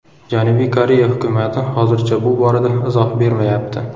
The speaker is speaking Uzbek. Janubiy Koreya hukumati hozircha bu borada izoh bermayapti.